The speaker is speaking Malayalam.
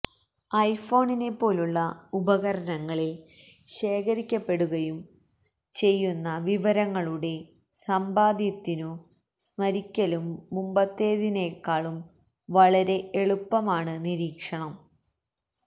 ഐഫോണിനെപ്പോലുള്ള ഉപകരണങ്ങളിൽ ശേഖരിക്കപ്പെടുകയും ശേഖരിക്കപ്പെടുകയും ചെയ്യുന്ന വിവരങ്ങളുടെ സമ്പാദ്യത്തിനു സ്മരിക്കലും മുമ്പത്തേതിനേക്കാളും വളരെ എളുപ്പമാണ് നിരീക്ഷണം